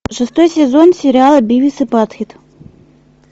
шестой сезон сериала бивис и батхед